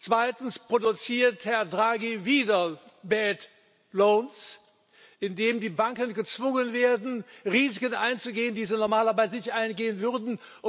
Zweitens produziert Herr Draghi wieder indem die Banken gezwungen werden, Risiken einzugehen, die sie normalerweise nicht eingehen würden.